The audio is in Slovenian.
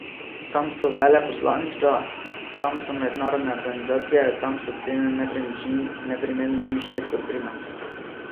Tam so veleposlaništva, tam so mednarodne organizacije, tam so cene nepremičnin neprimerno višje kot pri nas.